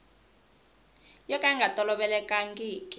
yo ka yi nga tolovelekangiki